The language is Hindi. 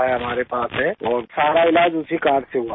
तो उन्होंने मेरा वो कार्ड लिया और मेरा सारा इलाज़ उसी कार्ड से हुआ है